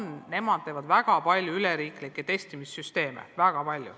Nemad on välja töötanud väga palju üleriigilisi teste.